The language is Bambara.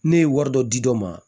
Ne ye wari dɔ di dɔ ma